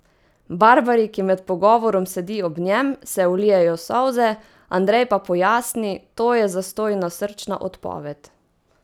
Barbari, ki med pogovorom sedi ob njem, se ulijejo solze, Andrej pa pojasni: "To je zastojna srčna odpoved.